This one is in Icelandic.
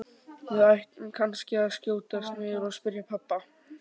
Við ættum kannski að skjótast niður og spyrja pabba.